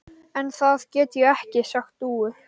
En það get ég ekki sagt Dúu.